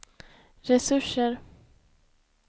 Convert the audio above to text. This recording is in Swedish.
resurser